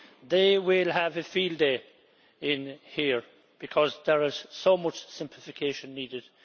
They will have a field day here, because there is so much simplification needed.